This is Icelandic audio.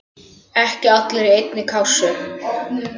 Ekki allir í einni kássu!